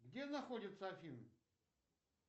где находятся афины